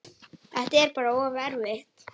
Þetta er bara of erfitt.